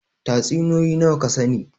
Tatsuniyoyi nawa ka sani?